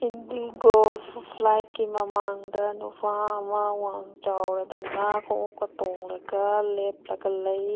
IndiGo ꯐ ꯐ꯭ꯂꯥꯏꯠꯀꯤ ꯃꯃꯥꯡꯗ ꯅꯨꯄꯥ ꯑꯃ ꯋꯡꯆꯥꯎꯔꯗꯅ ꯈꯨꯉꯨꯞꯀ ꯇꯣꯡꯂꯒ ꯂꯦꯞꯂꯒ ꯂꯩ꯫